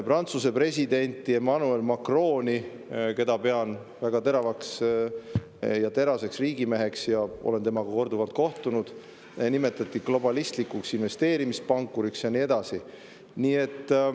Prantsuse presidenti Emmanuel Macroni – pean teda väga teravaks ja teraseks riigimeheks ja olen temaga korduvalt kohtunud – nimetati globalistlikuks investeerimispankuriks, ja nii edasi.